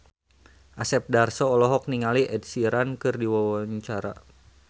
Asep Darso olohok ningali Ed Sheeran keur diwawancara